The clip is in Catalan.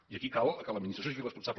i aquí cal que l’administració sigui responsable